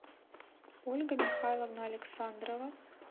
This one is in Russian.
ольга михайловна александрова